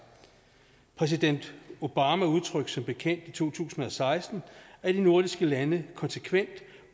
præsident obama udtrykte som bekendt i to tusind og seksten at de nordiske lande konsekvent